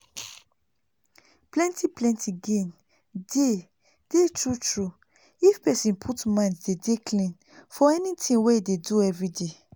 plenti plenti gain dey dey tru tru if pesin put mind dey dey clean for anything wey e dey do everyday